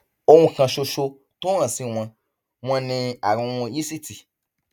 ohun kan ṣoṣo tó hàn sí wọn wọn ni àrùn yíìsìtì